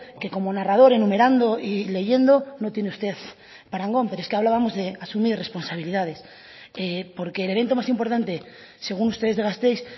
que como narrador enumerando y leyendo no tiene usted parangón pero es que hablábamos de asumir responsabilidades porque el evento más importante según ustedes de gasteiz